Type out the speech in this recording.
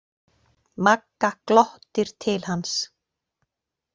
Magga glottir til hans.